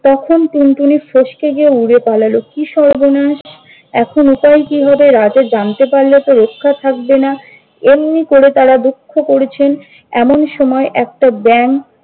তখন টুনটুনি ফস্কে গিয়ে উড়ে পালাল। কি সর্বনাশ! এখন উপায় কি হবে? রাজা জানতে পারলে তো রক্ষা থাকবেনা। এমনি করে তারা দুঃখ করছেন। এমন সময় একটা ব্যাঙ-